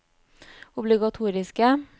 obligatoriske